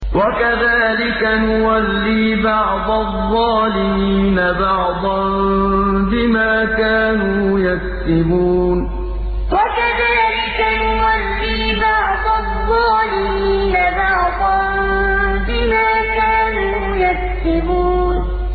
وَكَذَٰلِكَ نُوَلِّي بَعْضَ الظَّالِمِينَ بَعْضًا بِمَا كَانُوا يَكْسِبُونَ وَكَذَٰلِكَ نُوَلِّي بَعْضَ الظَّالِمِينَ بَعْضًا بِمَا كَانُوا يَكْسِبُونَ